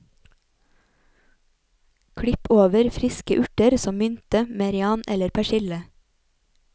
Klipp over friske urter som mynte, merian eller persille.